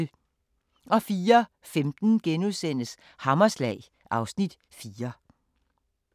04:15: Hammerslag (Afs. 4)*